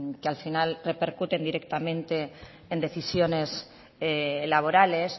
que al final repercuten directamente en decisiones laborales